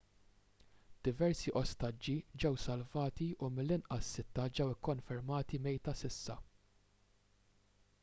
diversi ostaġġi ġew salvati u mill-inqas sitta ġew ikkonfermati mejta s'issa